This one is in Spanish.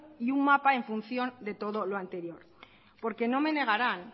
y un mapa en función de todo lo anterior porque no me negarán